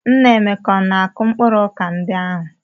Nna Emeka na-akụ mkpụrụ ọka ndị ahụ?